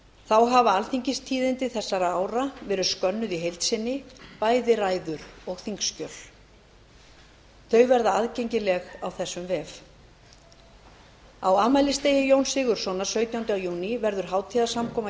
þá hafa alþingistíðindi þessara ára verið skönnuð í heild sinni bæði ræður og þingskjöl þau verða aðgengileg á þessum vef á afmælisdegi jóns sigurðssonar sautjánda júní verður hátíðarsamkoma